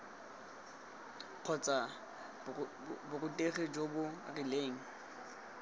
kgotsa borutegi jo bo rileng